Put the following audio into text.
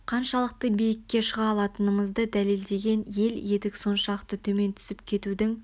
қаншалықты биікке шыға алатынымызды дәлелдеген ел едік соншалықты төмен түсіп кетудің